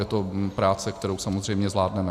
Je to práce, kterou samozřejmě zvládneme.